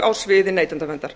á sviði neytendaverndar